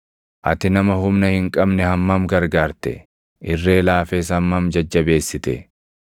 “Ati nama humna hin qabne hammam gargaarte! Irree laafes hammam jajjabeessite!